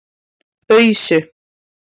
Ausu